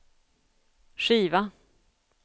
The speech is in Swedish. skiva